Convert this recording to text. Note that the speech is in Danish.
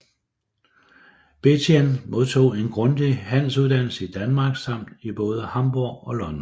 Benthien modtog en grundig handelsuddannelse i Danmark samt i både Hamborg og London